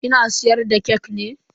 Kina siyar da kek ne?